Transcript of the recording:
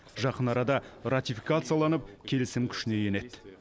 жақын арада ратификацияланып келісім күшіне енеді